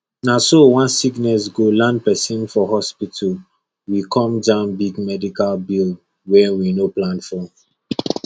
na so one sickness go land person for hospital we come jam big medical bill wey we no plan for